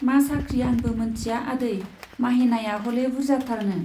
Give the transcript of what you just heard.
मा साख्रि आंबो मोनथिया आदै, माहेनाया हले बुर्जाथारनो।